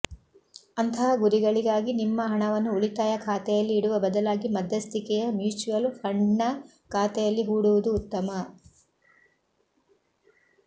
ಅಂತಹ ಗುರಿಗಳಿಗಾಗಿ ನಿಮ್ಮ ಹಣವನ್ನು ಉಳಿತಾಯ ಖಾತೆಯಲ್ಲಿ ಇಡುವ ಬದಲಾಗಿ ಮಧ್ಯಸ್ಥಿಕೆಯ ಮ್ಯೂಚುವಲ್ ಫಂಡ್ನ ಖಾತೆಯಲ್ಲಿ ಹೂಡುವುದು ಉತ್ತಮ